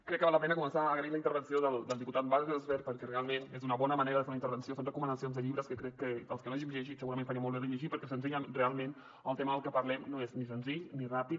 crec que val la pena començar agraint la intervenció del diputat wagensberg perquè realment és una bona manera de fer una intervenció fent recomanacions de llibres que crec que els que no hàgim llegit segurament faríem molt bé de llegir perquè realment el tema del que parlem no és ni senzill ni ràpid